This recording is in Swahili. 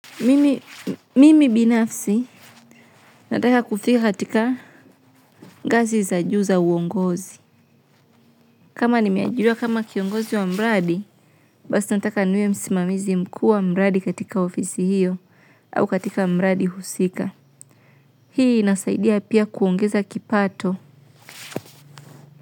Mimi binafsi nataka kufika katika ngazi za juu za uongozi. Kama nimeajiriwa kama kiongozi wa mradi basi nataka niwe msimamizi mkuu wa mradi katika ofisi hiyo au katika mradi husika hii inasaidia pia kuongeza kipato.